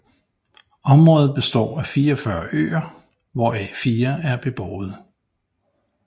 Området består af 44 øer hvoraf fire er beboede